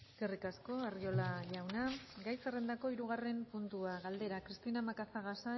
eskerrik asko arriola jauna gai zerrendako hirugarren puntua galdera cristina macazaga